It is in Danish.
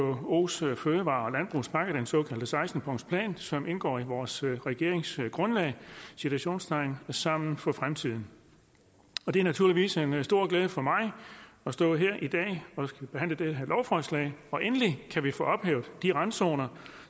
vkos fødevare og landbrugspakke den såkaldte seksten punktsplan som indgår i vores regeringsgrundlag sammen for fremtiden og det er naturligvis en stor glæde for mig at stå her i dag og skulle behandle det her lovforslag for endelig kan vi få ophævet de randzoner